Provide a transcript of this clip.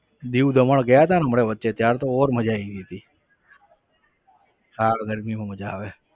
દીવ દમણ ગયા હતાને હમણાં વચ્ચે ત્યાર તો और મજા આવી ગઈ હતી હા ગરમીમાં મજા આવે.